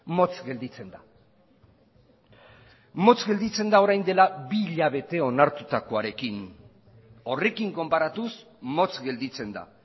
motz gelditzen da motz gelditzen da orain dela bi hilabete onartutakoarekin horrekin konparatuz motz gelditzen da